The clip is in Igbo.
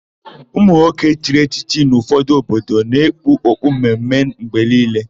Ụmụnwoke chiri echichi n'ụfọdụ obodo na-ekpu okpu mme mme mgbe niile.